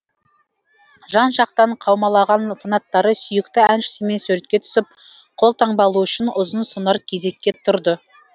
жан жақтан қаумалаған фанаттары сүйікті әншісімен суретке түсіп қолтаңба алу үшін ұзын сонар кезекке тұрды